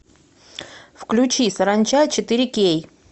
включи саранча четыре кей